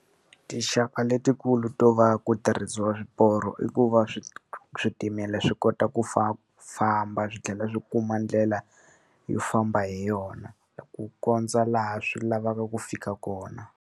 Tinxaka letikulu to va ku tirhisiwa swiporo i ku va switimela swi kota ku famba swi tlhela swi kuma ndlela yo famba hi yona, ku kondza laha swi lavaka ku fika kona.